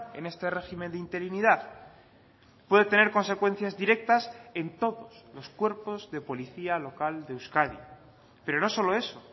en este régimen de interinidad puede tener consecuencias directas en todos los cuerpos de policía local de euskadi pero no solo eso